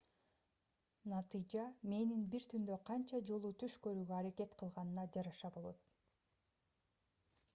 натыйжа мээнин бир түндө канча жолу түш көрүүгө аракет кылганына жараша болот